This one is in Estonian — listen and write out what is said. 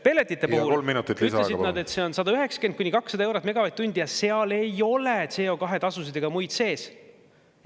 Pelletite puhul ütlesid nad, et see on 190–200 eurot megavatt-tund ja seal ei ole CO2-tasusid ega muid sees.